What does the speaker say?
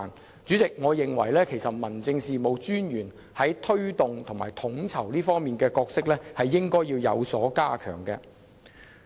代理主席，我認為民政事務專員在推動和統籌方面的角色應要有所加強。